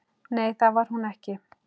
Nei, það var hún ekki.